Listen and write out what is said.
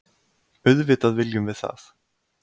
Auðvitað viljum við það.